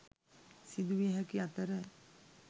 සිදුවිය හැකි අතර